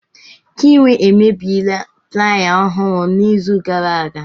Chinwe emebiela plaaya ọhụrụ n'izu gara aga.